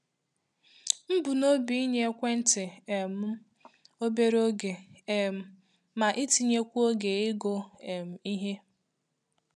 M bu n'obi inye ekwenti um m obere oge um ma itinyekwu oge ịgụ um ihe.